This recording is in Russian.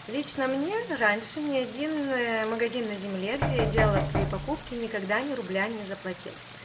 лично мне раньше ни один магазин на земле где я делала свои покупки никогда ни рубля не заплатил